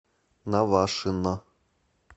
навашино